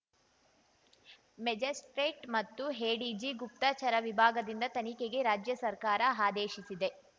magistrate ಮತ್ತು ADG ಗುಪ್ತಚರ ವಿಭಾಗದಿಂದ ತನಿಖೆಗೆ ರಾಜ್ಯ ಸರ್ಕಾರ ಆದೇಶಿಸಿದೆ